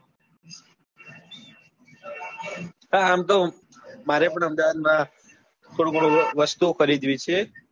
હા આમ તો મારે પણ અમદાવાદ માં થોડું ઘણું વસ્તુ ઓ ખરીદવી છે.